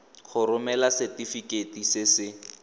go romela setefikeiti se se